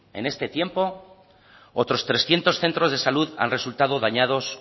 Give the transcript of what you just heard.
en este tiempo otros trescientos centros de salud han resultado dañados